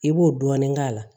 I b'o dɔɔnin k'a la